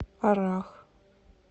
аррах